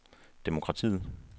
demokratiet